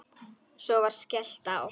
Svo var skellt á.